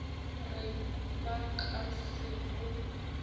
re ba ka se bo